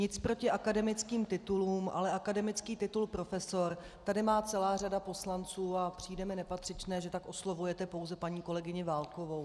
Nic proti akademickým titulům, ale akademický titul profesor tady má celá řada poslanců a přijde mi nepatřičné, že tak oslovujete pouze paní kolegyni Válkovou.